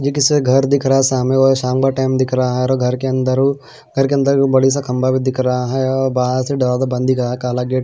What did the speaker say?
घर दिख रहा है शामे और शाम का टाइम दिख रहा है और घर के अंदर घर के अंदर बड़ी सा खंबा भी दिख रहा है और बंद दिख रहा है।